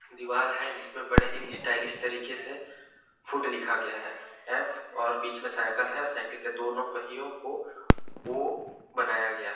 दीवार हैं जिसपे बड़े ही स्टाइलिश तरीके से फ़ूड लिखा गया हैं ऍफ़ और बीच में साइकिल हैं साइकिल के दोनों पहियों को ओ बनाया गया हैं। .